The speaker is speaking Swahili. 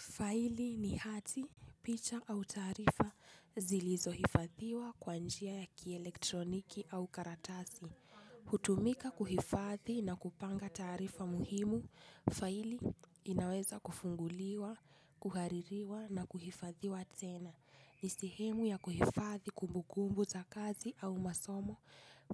Faili ni hati, picha au taarifa zilizo hifadhiwa kwa njia ya kielektroniki au karatasi. Hutumika kuhifadhi na kupanga taarifa muhimu, faili inaweza kufunguliwa, kuhaririwa na kuhifadhiwa tena. Ni sehemu ya kuhifadhi kumbukumbu za kazi au masomo,